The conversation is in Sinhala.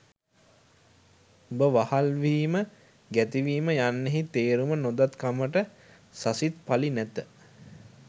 උඹ වහල් වීම ගැති වීම යන්නෙහි තේරුම නොදත් කමට සසිත් පලි නැත